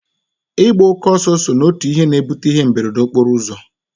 Ịgba oke ọsọ so n'otu ihe na-ebute ihe mberede okporo ụzọ